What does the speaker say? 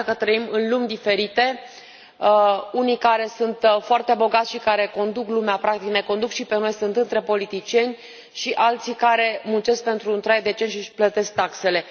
Ne arată că trăim în lumi diferite, unii care sunt foarte bogați și care conduc lumea, practic ne conduc și pe noi, sunt între politicieni, și alții care muncesc pentru un trai decent și își plătesc taxele.